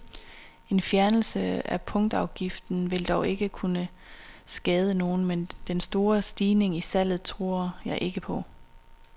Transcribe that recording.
En fjernelse af punktafgiften vil dog ikke skade nogen, men den store stigning i salget tror jeg ikke på.